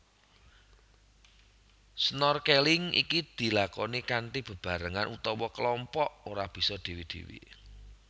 Snorkeling iki dilakoni kanthi bebarengan utawa kelompok ora bisa dhewe dhewe